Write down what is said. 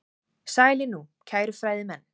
Sælir nú, kæru fræðimenn.